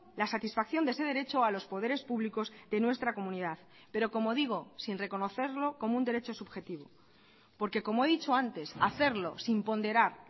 las satisfacción de ese derecho a los poderes públicos de nuestra comunidad pero como digo sin reconocerlo como un derecho subjetivo porque como he dicho antes hacerlo sin ponderar